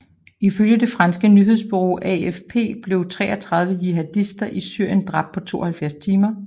Ifølge det franske nyhedsbureau AFP blev 33 jihadister i Syrien dræbt på 72 timer